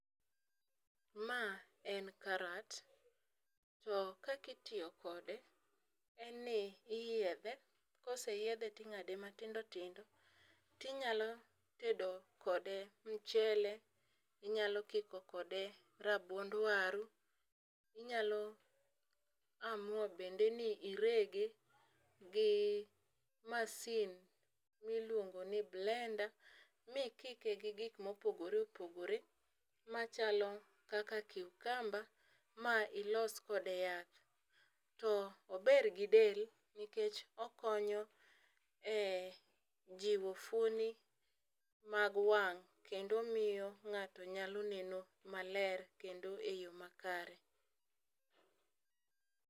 Ma en karat ,to kakitiyo kode en ni iyiedhe ,koseyiedhe ting'ade matindo tindo tinyako tedo kode mchele, inyalo kiko kode rabuond waru, inyalo amua bende ni irege gi masin miluongo ni blender mikike gi gik mopogore opogore machalo kaka cucumber ma ilos kode yath. To ober gi del nikech okonyo e jiwo fuoni mag wang' kendo omiyo nga'to nyalo neno maler kendo e yoo makare.